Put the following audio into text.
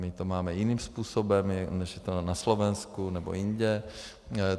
My to máme jiným způsobem, než je to na Slovensku nebo jinde.